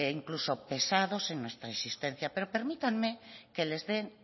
incluso pesados en nuestra persistencia pero permítanme que les den